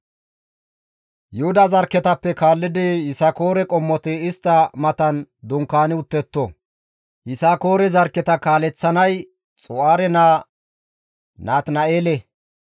Yuhuda zarkketappe kaallidi Yisakoore qommoti istta matan dunkaani uttetto; Yisakoore zarkketa kaaleththanay Xu7aare naa Natina7eele.